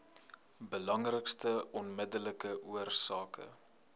belangrikste onmiddellike oorsake